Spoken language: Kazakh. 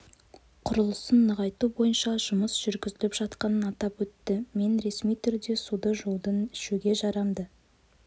құрылысын нығайту бойынша жұмыс жүргізіліп жатқанын атап өтті мен ресми түрде суды жудың ішуге жарамды